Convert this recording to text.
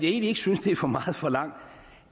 egentlig ikke synes det er for meget forlangt